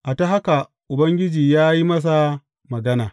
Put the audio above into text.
A ta haka Ubangiji ya yi masa magana.